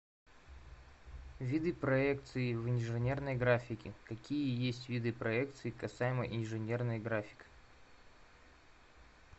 виды проекции в инженерной графике какие есть виды проекции касаемо инженерной график